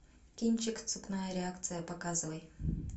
кинчик цепная реакция показывай